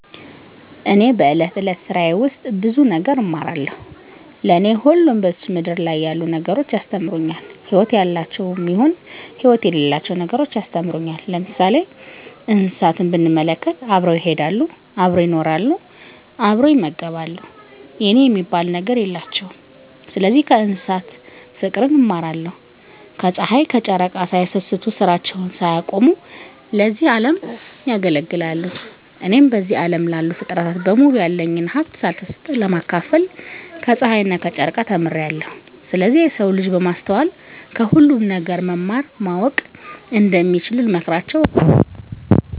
እኔ በእለት እለት ስራየ ውስጥ ብዙ ነገር እማራለሁ። ለኔ ሁሉም በዝች ምድር ያሉ ነገሮች ያስተምሩኛል ህይወት ያላቸውም ይሁን ህይወት የሌላቸው ነገሮች ያስተምሩኛል። ለምሳሌ እንስሳትን ብንመለከት አብረው ይሄዳሉ አብረው ይኖራሉ አብረው ይመገባሉ የኔ የሚባል ነገር የላቸውም ስለዚህ ከእንስሳት ፉቅርን እማራለሁ። ከጽሀይ ከጨረቃ ሳይሰስቱ ስራቸውን ሳያቆሙ ለዚህ አለም ያገለግላሉ። እኔም በዚህ አለም ላሉ ፉጥረታት በሙሉ ያለኝን ሀብት ሳልሰስት ለማካፈል ከጸሀይና ከጨረቃ ተምሬአለሁ። ስለዚህ የሰው ልጅ በማስተዋል ከሁሉም ነገር መማር ማወቅ እንደሚችሉ ልመክራቸው እወዳለሁ።